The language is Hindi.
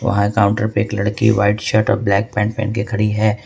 वहां काउंटर पे एक लड़की व्हाइट शर्ट और ब्लैक पैंट पहन के खड़ी है।